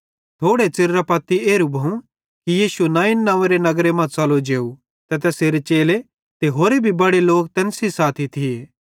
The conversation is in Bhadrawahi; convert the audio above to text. थोड़े च़िरेरां पत्ती एरू भोवं कि यीशु नाईन नव्वेंरे नगर मां च़लो जेव ते तैसेरे चेले ते होरे भी बड़े लोक तैन सेइं साथी थिये